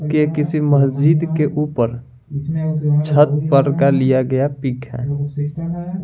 की किसी मस्जिद के ऊपर छत पर का लिया गया पिक है।